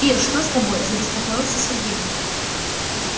ир что с тобой забеспокоился сергей